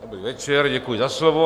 Dobrý večer, děkuji za slovo.